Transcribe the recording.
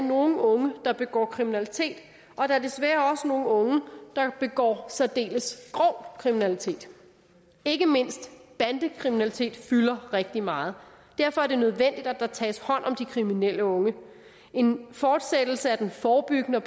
nogle unge der begår kriminalitet og der er desværre også nogle unge der begår særdeles grov kriminalitet ikke mindst bandekriminalitet fylder rigtig meget derfor er det nødvendigt at der tages hånd om de kriminelle unge en fortsættelse af den forebyggende